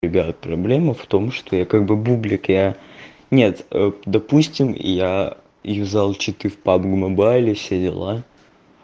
проблема в том что я как бы бублик я нет допустим я и взял читы в пабг мобайле все дела